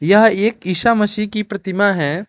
यह एक ईसा मसीह की प्रतिमा है।